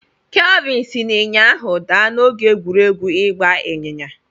Kelvin si n'ịnyịnya ahụ daa n'oge egwuregwu ịgba ịnyịnya.